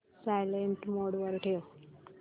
silent mode वर ठेव